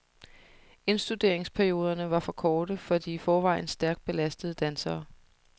Indstuderingsperioderne var for korte for de i forvejen stærkt belastede dansere.